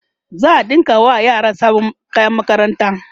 za'a ɗinka wa yaran sabon kayan makaranta